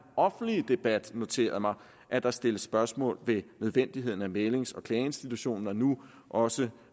offentlige debat noteret mig at der stilles spørgsmål ved nødvendigheden af mæglings og klageinstitutionen og nu også